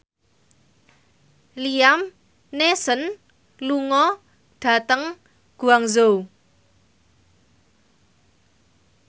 Liam Neeson lunga dhateng Guangzhou